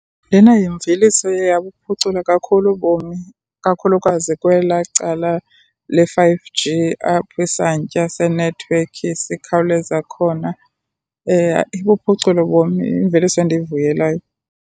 Lena yimveliso eye yabuphucula kakhulu ubomi, kakhulukazi kwelaa cala le-Five G apho isantya senethiwekhi sikhawuleza khona. Ibuphucule ubomi, yimveliso endiyivuyelayo.